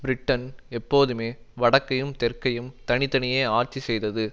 Britain எப்போதுமே வடக்கையும் தெற்கையும் தனி தனியே ஆட்சி செய்தது